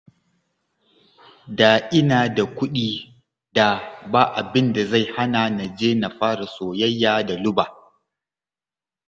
Da ina da kuɗi, da ba abin da zai hana na je na fara soyayya da Luba